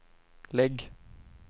lägg